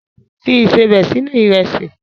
Fi ìsebẹ̀ sínú Ìrẹ́sì!